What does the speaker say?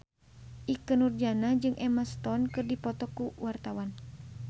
Ikke Nurjanah jeung Emma Stone keur dipoto ku wartawan